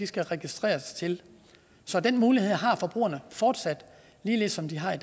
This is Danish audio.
skal registreres til så den mulighed har forbrugerne fortsat ligesom de har